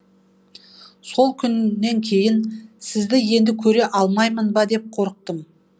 сол күннен кейін сізді енді көре алмаймын ба деп қорықтым